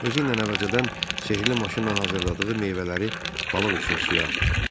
Özü ilə əvvəlcədən sehrli maşınla hazırladığı meyvələri balıq üçün suya atdı.